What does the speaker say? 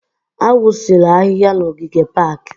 Awụsịla ahịhịa n'ogige pak!